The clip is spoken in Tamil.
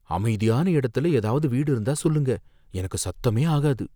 அமைதியான இடத்துல ஏதாவது வீடு இருந்தா சொல்லுங்க எனக்கு சத்தமே ஆகாது.